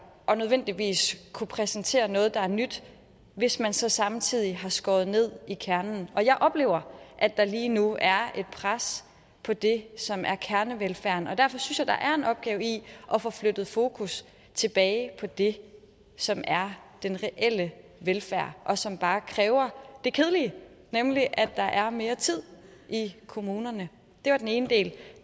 og nødvendigvis kunne præsentere noget der er nyt hvis man så samtidig har skåret ned i kernen og jeg oplever at der lige nu er et pres på det som er kernevelfærden derfor synes jeg der er en opgave i at få flyttet fokus tilbage på det som er den reelle velfærd og som bare kræver det kedelige nemlig at der er mere tid i kommunerne det var den ene del